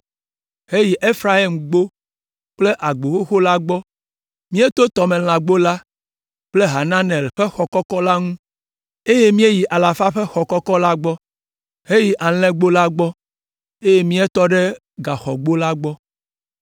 heyi Efraimgbo kple Agbo Xoxo la gbɔ. Míeto Tɔmelãgbo la kple Hananel ƒe Xɔ Kɔkɔ la ŋu, eye míeyi Alafa ƒe Xɔ Kɔkɔ la gbɔ, heyi Alẽgbo la gbɔ, eye míetɔ ɖe Gaxɔgbo la gbɔ.